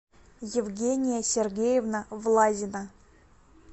евгения сергеевна влазина